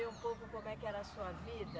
Um pouco como é que era a sua vida?